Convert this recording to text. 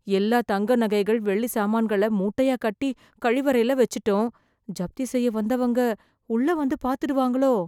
எல்லா தங்கநகைகள், வெள்ளி சாமான்களை மூட்டையா கட்டி, கழிவறைல வெச்சிட்டோம்... ஜப்தி செய்ய வந்தவங்க, உள்ளே வந்து பாத்துடுவாங்களோ..